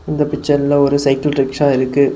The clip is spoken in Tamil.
இந்த பிச்சர்ல ஒரு சைக்கிள் ரிக்ஷா இருக்கு.